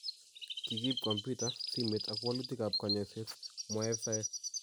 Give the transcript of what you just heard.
Kikiib komputa, simet ak walutikab konyoiset ,"mwaei afisaek.